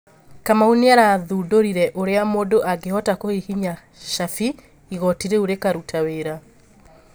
Kamau nĩarathũndorire ũrĩa mundũ angĩhota kũhihinya cabi igoti rĩu rĩkarũta wĩra